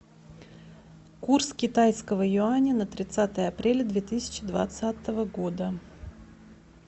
курс китайского юаня на тридцатое апреля две тысячи двадцатого года